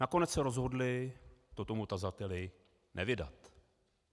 Nakonec se rozhodli to tomu tazateli nevydat.